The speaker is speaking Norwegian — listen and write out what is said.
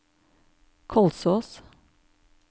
Kolsås